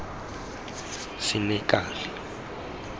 senekal